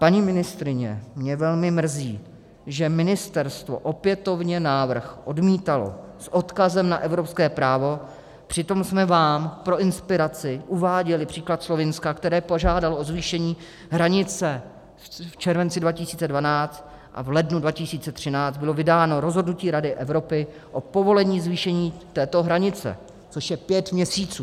Paní ministryně, mě velmi mrzí, že ministerstvo opětovně návrh odmítalo s odkazem na evropské právo, přitom jsme vám pro inspiraci uváděli příklad Slovinska, které požádalo o zvýšení hranice v červenci 2012, a v lednu 2013 bylo vydáno rozhodnutí Rady Evropy o povolení zvýšení této hranice, což je pět měsíců.